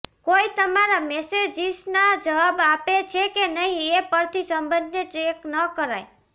કોઈ તમારા મેસેજિસના જવાબ આપે છે કે નહીં એ પરથી સંબંધને ચેક ન કરાય